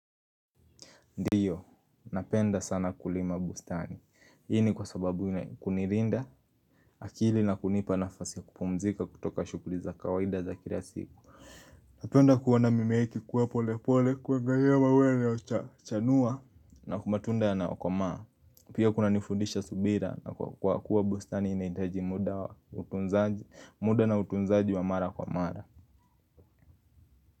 Ndiyo, napenda sana kulima bustani. Hii ni kwa sababu, kunilinda, akili na kunipa nafasi ya kupumzika kutoka shughuli za kawaida za kila siku. Napenda kuona mimea iki kuwa pole pole, kuwa gayewa wele ochanua. Na kumatunda ya nayokomaa, pia kuna nifundisha subira na kwa kuwa bustani inahitaji muda na utunzaji wa mara kwa mara.